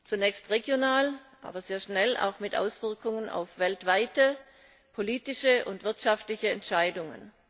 Zunächst regional, aber sehr schnell auch mit Auswirkungen auf weltweite politische und wirtschaftliche Entscheidungen.